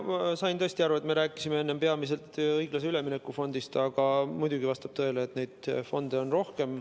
Ma sain tõesti aru, et me rääkisime enne peamiselt õiglase ülemineku fondist, aga muidugi vastab tõele, et neid fonde on rohkem.